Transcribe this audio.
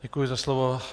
Děkuji za slovo.